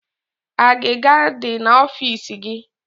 Agịga adi na ọfịs gi